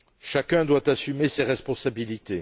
Chacun doit assumer ses responsabilités.